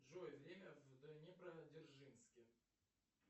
джой время в днепродзержинске